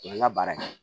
U ye n ka baara kɛ